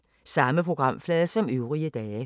Samme programflade som øvrige dage